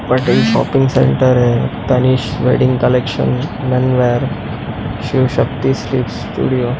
but ये shopping centre है Tanishq wedding collection men wear Shiv Shakti sweets studio--